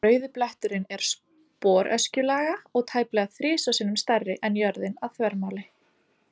Rauði bletturinn er sporöskjulaga og tæplega þrisvar sinnum stærri en jörðin að þvermáli.